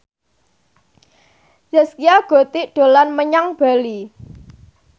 Zaskia Gotik dolan menyang Bali